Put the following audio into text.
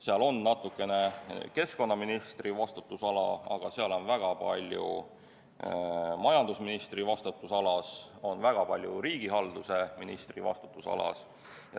Seal on natukene keskkonnaministri vastutusala, aga seal on ka väga palju majandusministri vastutusala ja väga palju riigihalduse ministri vastutusala.